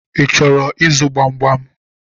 Ị chọrọ ịzụ gbamgbam?